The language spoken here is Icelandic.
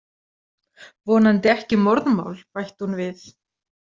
Vonandi ekki morðmál, bætti hún við.